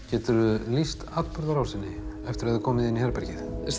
geturðu lýst atburðarásinni eftir að þið komuð inn í herbergið